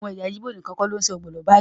Àwọn ẹyà Igbo nìkan kọ́ ni ṣe ọbẹ̀ ogbono báyìí